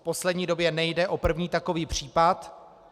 V poslední době nejde o první takový případ.